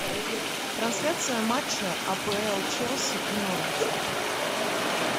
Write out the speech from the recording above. трансляция матча апл челси и норвича